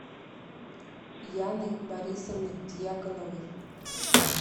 яны борисовны дьяконовой